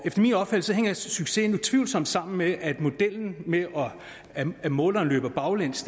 efter min opfattelse hænger succesen utvivlsomt sammen med at modellen med at måleren løber baglæns